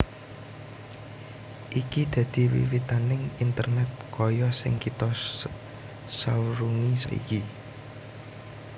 Iki dadi wiwitaning Internet kaya sing kita sawrungi saiki